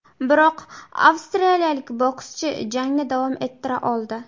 Biroq, avstraliyalik bokschi jangni davom ettira oldi.